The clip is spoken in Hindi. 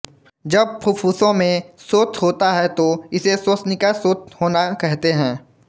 जब फुफ्फुसों में शोथ होता है तो इसे श्वसनिका शोथ होना कहते हैं